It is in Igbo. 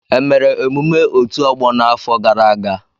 E mere emume otù ọgbọ n'afọ gara aga.